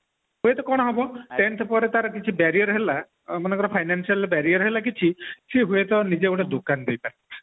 କଣ ହେବ tenth ପରେ ତାର କିଛି barrier ହେଲା ମନେ କର financial barrier ହେଲା କିଛି ସେ ହୁଏତ ନିଜେ ଗୋଟେ ଦୋକାନ ଦେଇପାରେ